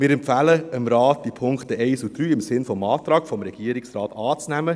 Wir empfehlen dem Rat, die Punkte 1 bis 3 im Sinn des Antrags des Regierungsrates anzunehmen.